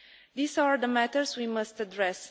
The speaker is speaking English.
These are the matters we must address.